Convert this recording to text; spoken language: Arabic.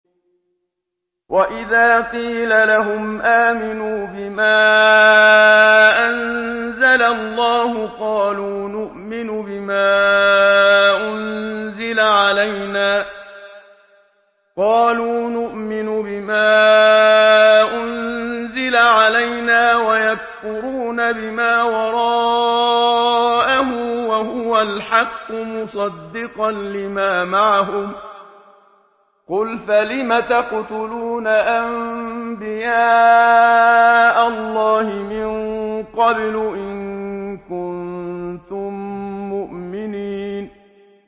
وَإِذَا قِيلَ لَهُمْ آمِنُوا بِمَا أَنزَلَ اللَّهُ قَالُوا نُؤْمِنُ بِمَا أُنزِلَ عَلَيْنَا وَيَكْفُرُونَ بِمَا وَرَاءَهُ وَهُوَ الْحَقُّ مُصَدِّقًا لِّمَا مَعَهُمْ ۗ قُلْ فَلِمَ تَقْتُلُونَ أَنبِيَاءَ اللَّهِ مِن قَبْلُ إِن كُنتُم مُّؤْمِنِينَ